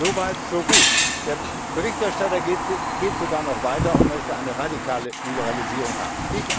So weit so gut. Der Berichterstatter geht sogar noch weiter und möchte eine radikale Liberalisierung haben.